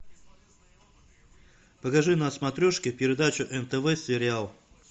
покажи на смотрешке передачу нтв сериал